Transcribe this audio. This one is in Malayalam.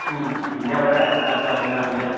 ആ പിന്നവിടെ കറങ്ങാ അങ്ങിനെ